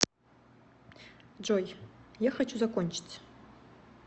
джой я хочу закончить